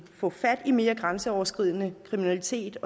få fat i mere grænseoverskridende kriminalitet